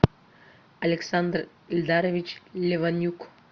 александр эльдарович леванюк